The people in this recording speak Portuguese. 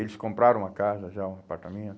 Eles compraram uma casa já, um apartamento.